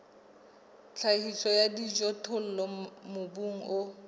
tlhahiso ya dijothollo mobung o